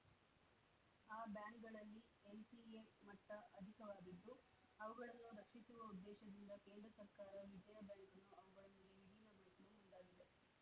ಆ ಬ್ಯಾಂಕ್‌ಗಳಲ್ಲಿ ಎನ್‌ಪಿಎ ಮಟ್ಟಅಧಿಕವಾಗಿದ್ದು ಅವುಗಳನ್ನು ರಕ್ಷಿಸುವ ಉದ್ದೇಶದಿಂದ ಕೇಂದ್ರ ಸರ್ಕಾರ ವಿಜಯ ಬ್ಯಾಂಕನ್ನು ಅವುಗಳೊಂದಿಗೆ ವಿಲೀನಗೊಳಿಸಲು ಮುಂದಾಗಿದೆ